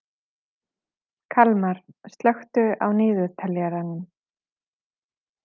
Kalmar, slökktu á niðurteljaranum.